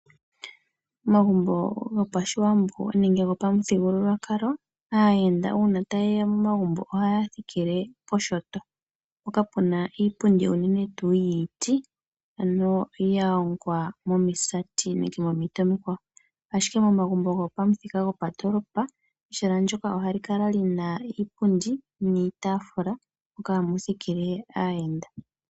Omagumbo goPashiwambo nenge gopamuthigululwakalo, aayenda uuna tayeya momagumbo ohaya thikile poshinyanga , mpoka puna iipundi unene tuu yiiti ,ano yahongwa momisati nenge momiti omikwawo , ashike momagumbo gopamuthika gopandoolopa ehala ndyoka ohali kala Lina iipundi niitafula moka hamu thikile aayenda.